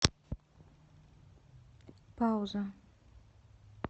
пауза